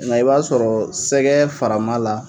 Nga i b'a sɔrɔ sɛgɛ faraman la